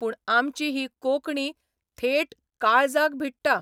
पूण आमची ही कोंकणी थेट काळजाक भिडटा.